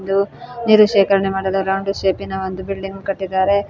ಇದು ನೀರು ಶೇಖರಣೆ ಮಾಡಲು ರೌಂಡಿ ಸೇಪಿ ನ ಒಂದು ಬಿಲ್ಡಿಂಗ್ ಕಟ್ಟಿದ್ದಾರೆ.